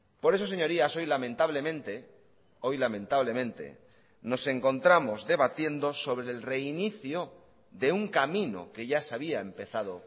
por eso señorías hoy lamentablemente hoy lamentablemente nos encontramos debatiendo sobre el reinicio de un camino que ya se había empezado